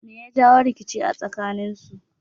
Me ya jawo rikice a tsakaninsu?